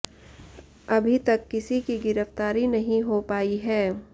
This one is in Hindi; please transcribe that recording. अभी तक किसी की गिरफ्तारी नहीं हो पाई है